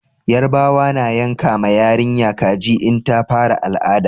Yarbawa na yanka ma yarinya kaji in ta fara al'ada